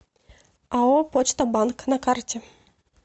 ао почта банк на карте